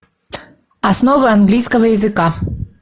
основы английского языка